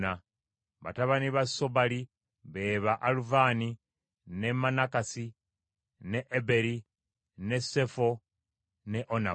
Batabani ba Sobali be ba Aluvani, ne Manakasi, ne Eberi, ne Sefo ne Onamu.